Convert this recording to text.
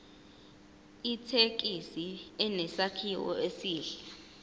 ithekisi inesakhiwo esihle